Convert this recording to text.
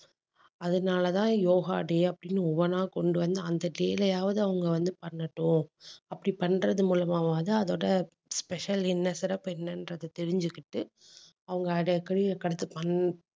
அதனாலே தான் யோகா day அப்படின்னு ஒவ்வொண்ணா கொண்டு வந்து, அந்த day லையாவது அவங்க வந்து பண்ணட்டும் அப்படி பண்றது மூலமாவாவது அதோட special என்ன சிறப்பு என்னன்றதை தெரிஞ்சுக்கிட்டு அவங்க அதை பண்ணு